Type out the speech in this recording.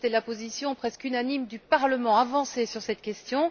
C'était la position presque unanime du Parlement d'avancer sur cette question.